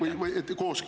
Aitäh!